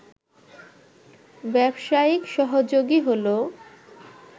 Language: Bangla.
ব্যবসায়িক সহযোগী হল